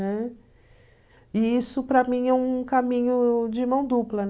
Né? E isso para mim é um caminho de mão dupla.